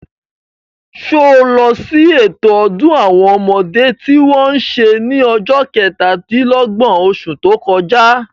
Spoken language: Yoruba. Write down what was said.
Sé o lọ sí ètò ọdún àwọn ọmọdé tí wọ́n se ní ọjọ́ kẹtà-dín-lọ́gbọ̀n, osù tó kọjá?